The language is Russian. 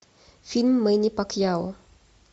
фильм мэнни пакьяо